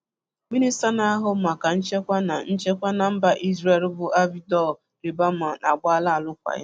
Minísta na-ahụ maka nchekwa na nchekwa na mba Ízrél bụ Avigdor Lieberman agbaala arụkwaghị m.